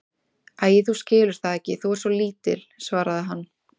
Æi, þú skilur það ekki, þú ert svo lítil, svaraði hann.